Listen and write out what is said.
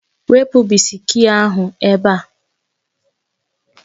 Wepụ bisiki ahụ ebe a